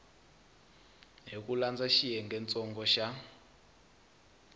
hi ku landza xiyengentsongo xa